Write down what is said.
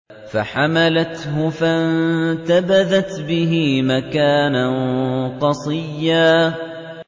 ۞ فَحَمَلَتْهُ فَانتَبَذَتْ بِهِ مَكَانًا قَصِيًّا